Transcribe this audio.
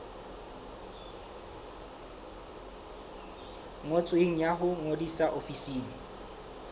ngotsweng ya ho ngodisa ofising